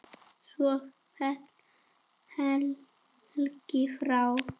Svo féll Helgi frá.